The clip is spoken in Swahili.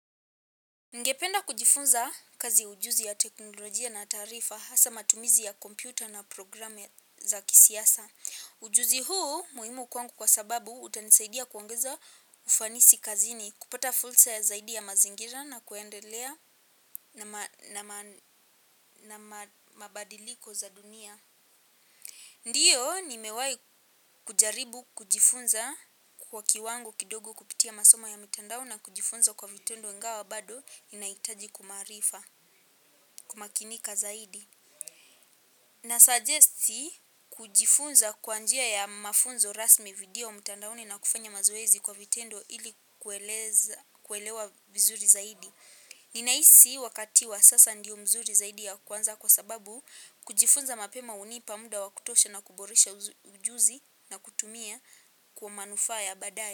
Ningependa kujifunza kazi ujuzi ya teknolojia na tarifa hasa matumizi ya kompyuta na programu za kisiasa. Ujuzi huu muhimu kwangu kwa sababu utanisaidia kuongeza ufanisi kazini, kupata fursa ya zaidi ya mazingira na kuendelea na mabadiliko za dunia. Ndiyo nimewai kujaribu kujifunza kwa kiwango kidogo kupitia masoma ya mitandao na kujifunza kwa vitendo ingawa bado inahitaji kumarifa. Kumakinika zaidi Nasagesti kujifunza kwa njia ya mafunzo rasmi video mtandaoni na kufanya mazoezi kwa vitendo ili kuelewa vizuri zaidi. Ninahisi wakati wa sasa ndiyo mzuri zaidi ya kuanza kwa sababu kujifunza mapema hunipa muda wavkutosha na kuboresha ujuzi na kutumia kwa manufaa ya badaye.